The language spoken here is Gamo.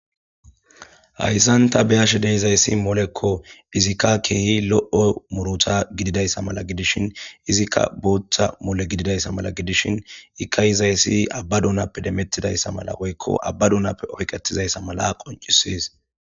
hayssanta beyashe deizayssi molekko izikka keehi lo7o muruta gididayssa mala gidishin izikka booththa mole gididayssa mala gidishin ikka izayssi abba duunappe demettidayssa mala woykko abba duunappe oyqetizayssa mala qoncisis